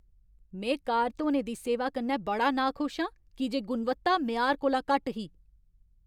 में कार धोने दी सेवा कन्नै बड़ा नाखुश आं की जे गुणवत्ता मेआर कोला घट्ट ही।